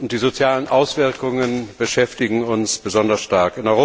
Die sozialen Auswirkungen beschäftigen uns besonders stark.